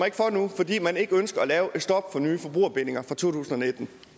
ikke for nu fordi man ikke ønsker at lave et stop for nye forbrugerbindinger fra totusinde